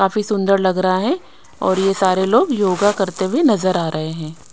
काफी सुंदर लग रहा है और ये सारे लोग योगा करते हुए नजर आ रहे है।